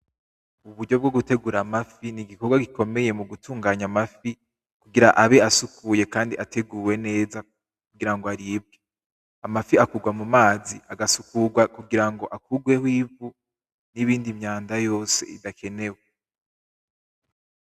Uburyo bwo gutegura amafi , ni igikorwa gikomeye mugutunganya amafi kugira abe asukuye kandi ateguwe neza kugira ngo aribwe, amafi agurwa mumazi , agasukurwa kugira ngo akurweho ivu n'iyindi myanda yose idakenewe.